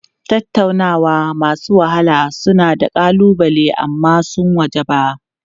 Tattaunawa masu wahala suna da ƙalubale amma sun wajaba.